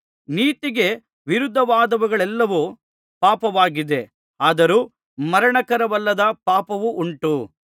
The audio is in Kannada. ನೀತಿಗೆ ವಿರುದ್ಧವಾದದ್ದೆಲ್ಲವೂ ಪಾಪವಾಗಿದೆ ಆದರೂ ಮರಣಕರವಲ್ಲದ ಪಾಪವುಂಟು